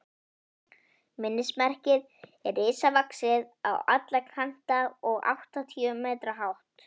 Minnismerkið er risavaxið á alla kanta og áttatíu metra hátt.